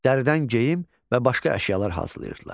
Dəridən geyim və başqa əşyalar hazırlayırdılar.